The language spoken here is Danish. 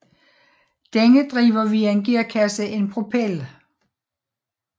Denne driver via en gearkasse en propel